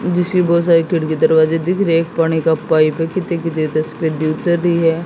जिसकी बहुत सारे खिड़की दरवाजे दिख रहे एक पानी का पाइप कितने भी है।